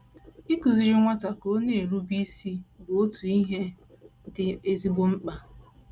Ịkụziri nwata ka ọ na - erube isi bụ otu ihe dị ezigbo mkpa..